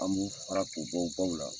An b'u fara k'u bɔ baw la.